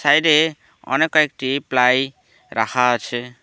এটি অনেক কয়েকটি প্লাই রাখা আছে।